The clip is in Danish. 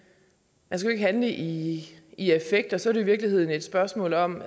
man skal jo ikke handle i i effekt og så er det i virkeligheden et spørgsmål om